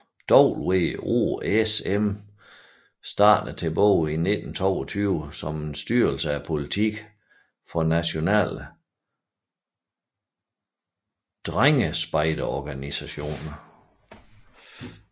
WOSM startede tilbage i 1922 som en styrelse af politikken for nationale drengespejderorganisationer